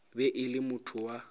be e le motho wa